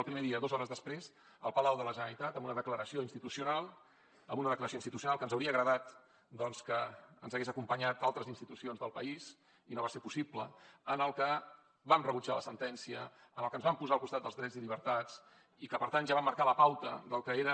el primer dia dos hores després al palau de la generalitat amb una declaració institucional que ens hauria agradat doncs que ens hi haguessin acompanyat altres institucions del país i no va ser possible en la que vam rebutjar la sentència en la que ens vam posar al costat dels drets i llibertats i que per tant ja vam marcar la pauta del que era